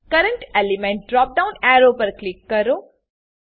current element drop down arrow button પર click કરો